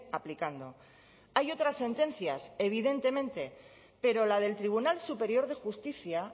aplicando hay otras sentencias evidentemente pero la del tribunal superior de justicia